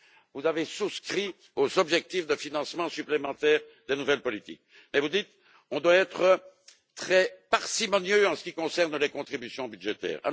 Vous avez souscrit aux objectifs de financements supplémentaires des nouvelles politiques et vous dites on doit être très parcimonieux en ce qui concerne les contributions budgétaires.